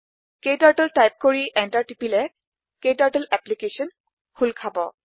ক্টাৰ্টল type কৰি enter টিপিলে ক্টাৰ্টল এপলিকেছন খোল খাব